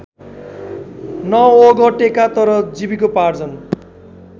नओगटेका तर जीविकोपार्जन